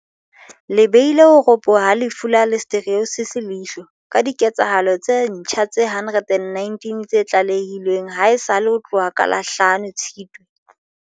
le beile ho ropoha ha lefu la Listeriosis leihlo, ka dike tsahalo tse ntjha tse 119 tse tlalehilweng haesale ho tloha ka la hlano, 5, Tshitwe.